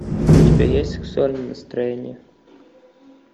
у тебя есть сексуальное настроение